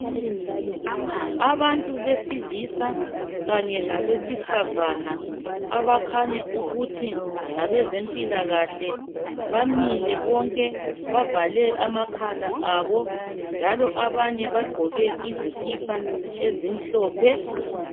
Abantu besilisa kanye labesifazana abakhanya ukuthi ngabe zempilakahle bamile bonke bavale amakhala abo njalo abanye bagqoke izikipa ezimhlophe.